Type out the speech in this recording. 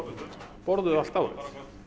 borðuð allt árið